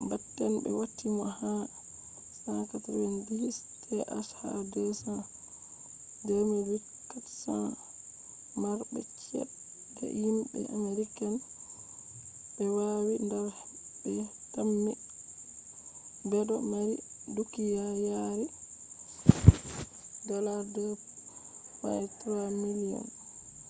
batten be wati mo ha 190th ha 2008 400 marbe chede himbe americans be wani dar be tammi bedo mari dukiya yari $2.3 billiom